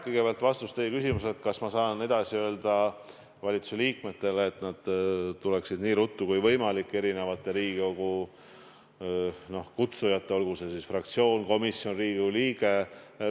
Kõigepealt vastus teie küsimusele, kas ma saan edasi öelda valitsuse liikmetele, et nad tuleksid nii ruttu kui võimalik Riigikogu kutsujatele vastama, olgu see siis fraktsioon, komisjon või Riigikogu liige.